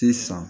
Te san